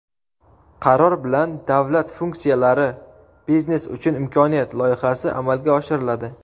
Qaror bilan "Davlat funksiyalari – biznes uchun imkoniyat" loyihasi amalga oshiriladi.